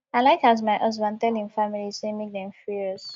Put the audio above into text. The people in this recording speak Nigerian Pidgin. i like as my husband tell im family sey make dem free us